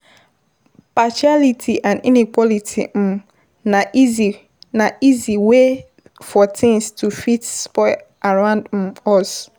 Partiality and inequality na easy wey for things to fit spoil around us